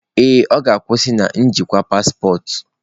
Ee, ọ ga-akwụsị na njikwa paspọtụ.